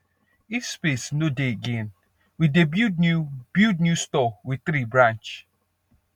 if space no dey again we dey build new build new store with tree branch